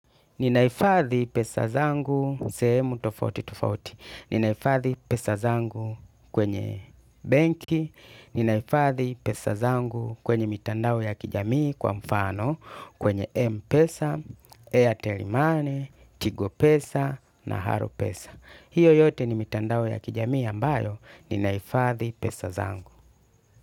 Ninahifadhi pesa zangu sehemu tofauti tofauti. Ninahifadhi pesa zangu kwenye benki. Ninahifadhi pesa zangu kwenye mitandao ya kijamii kwa mfano kwenye Mpesa, Airtel money, Tigo pesa na Halo pesa. Hiyo yote ni mitandao ya kijamii ambayo. Ninaifadhi pesa zangu.